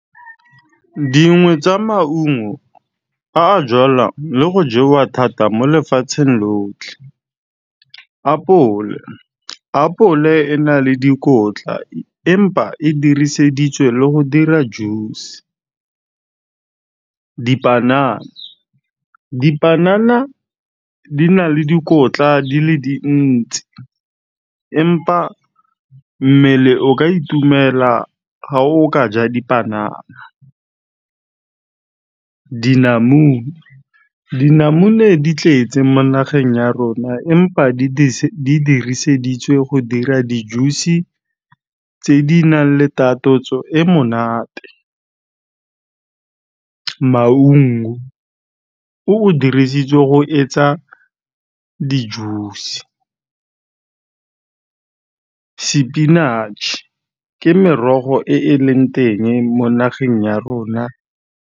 Dingwe tsa maungo a a jalwang le go jewa thata mo lefatsheng lotlhe, apole. Apole e na le dikotla empa e diriseditswe le go dira juice-e. Dipanana, dipanana di na le dikotla di le dintsi empa mmele o ka itumela ga o ka ja dipanana. Dinamune, dinamune di tletse mo nageng ya rona empa di diriseditse go dira di-juice-e tse di nang le takatso e monate. Maungo o o dirisitswe go etsa di-juice-e. Sepinatšhe ke merogo e e leng teng mo nageng ya rona.